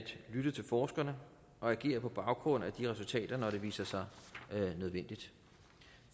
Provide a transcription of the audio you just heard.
lytte til forskerne og agere på baggrund af de resultater når det viser sig nødvendigt